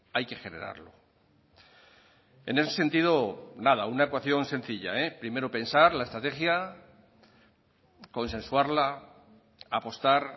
hay que generarlo en ese sentido nada una ecuación sencilla eh primero pensar la estrategia consensuarla apostar